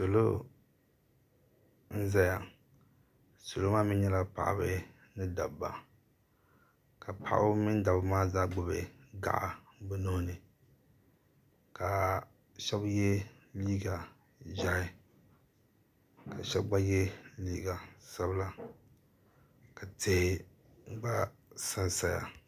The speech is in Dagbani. Salo n zaya salo maa mee nyɛla paɣaba ni dabba ka paɣaba mini dabba maa zaa gbibi gaɣa bɛ nuhini ka sheba ye liiga ʒehi ka sheba gba ye liiga sabila ka tihi gba sansaya.